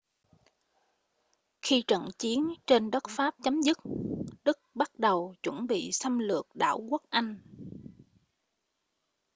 khi trận chiến trên đất pháp chấm dứt đức bắt đầu chuẩn bị xâm lược đảo quốc anh